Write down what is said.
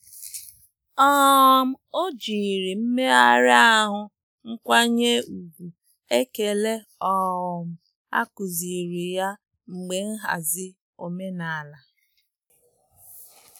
um O jiri mmeghari ahụ nkwanye ùgwù ekele um akụziri ya mgbe nhazi omenala.